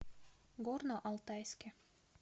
горно алтайске